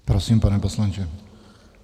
Prosím, pane poslanče.